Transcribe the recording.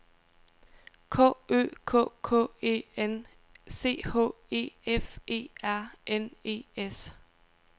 K Ø K K E N C H E F E R N E S